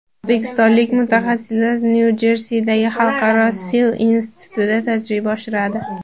O‘zbekistonlik mutaxassislar Nyu-Jersidagi Xalqaro sil institutida tajriba oshiradi.